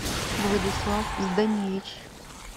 владислав зданевич